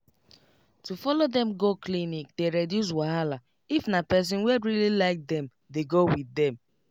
to follow dem go clinic dey reduce wahala if na person wey really like them dey go with dem